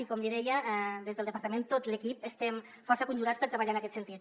i com li deia des del departament tot l’equip estem força conjurats per treballar en aquest sentit